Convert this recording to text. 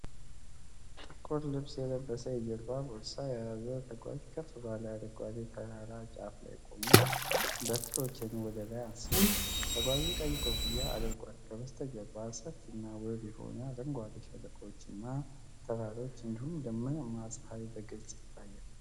✍️ መግለጫ ጥቁር ልብስ የለበሰ የጀርባ ቦርሳ የያዘ ተጓዥ ከፍ ባለ አረንጓዴ ተራራ ጫፍ ላይ ቆሞ በትሮቹን ወደ ላይ አንስቷል። ተጓዡ ቀይ ኮፍያ አድርጓል። ከበስተጀርባ ሰፊና ውብ የሆኑ አረንጓዴ ሸለቆዎችና ተራሮች እንዲሁም ደመናማ ሰማይ በግልጽ ይታያል።